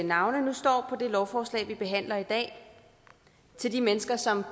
navne nu står på det lovforslag vi behandler i dag til de mennesker som